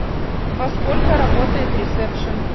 во сколько работает ресепшн